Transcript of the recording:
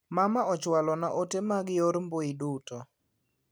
Mama ochwalo na ote mag nyor mbui duto.